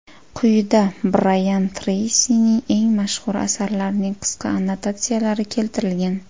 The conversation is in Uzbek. Quyida Brayan Treysining eng mashhur asarlarining qisqa annotatsiyalari keltirilgan.